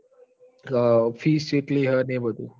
ક અ fees ચેટલી હન એ બધું